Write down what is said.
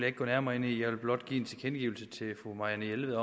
ikke gå nærmere ind i jeg vil blot give fru marianne jelved